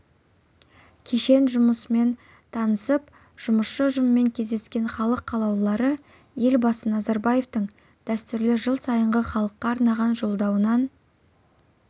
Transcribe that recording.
кешен жұмысмен танысып жұмысшы ұжыммен кездескен халық қалаулылары елбасы назарбаевтың дәстүрлі жыл сайынғы халыққа арнаған жолдауынан